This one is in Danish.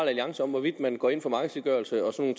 alliance om hvorvidt man går ind for markedsgørelse og sådan